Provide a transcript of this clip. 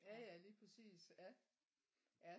jaja lige præcis ja. Ja.